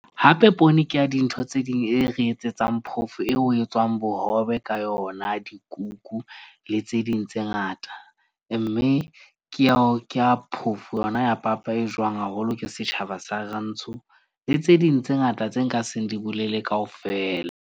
Hape poone ke ya dintho tse ding e re etsetsang phofo eo ho etswang bohobe ka yona, dikuku le tse ding tse ngata. Mme ke ao ke a phofo yona ya papa e jowang haholo, ke setjhaba sa rantsho le tse ding tse ngata tse nka seng di bolele kaofela.